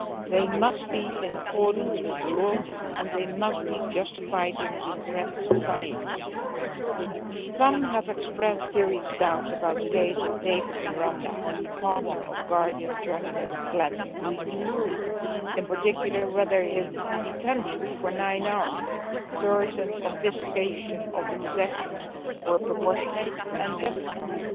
They must be in accordance with the law and they must be justified in a democratic society. Some have expressed serious doubts about the case of David Miranda, the partner of Guardian journalist Glenn Greenwald, and particularly about whether his detention for nine hours and the searching and confiscation of his possessions were proportionate and justified.